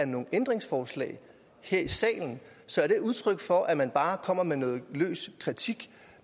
nogen ændringsforslag her i salen så er det udtryk for at man bare kommer med noget løs kritik